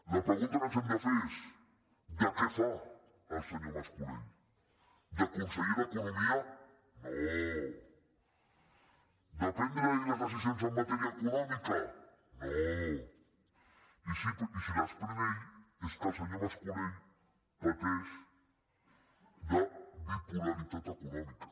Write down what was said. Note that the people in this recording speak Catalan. la pregunta que ens hem de fer és de què fa el senyor mas colell de conseller d’economia no de prendre ell les decisions en matèria econòmica no i si les pren ell és que el senyor mas colell pateix de bipolaritat econòmica